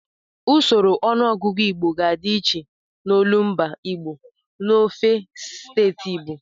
Usoro ọnụọgụgụ Igbo ga-adị iche n'olumba Igbo n'ofe steeti Igbo.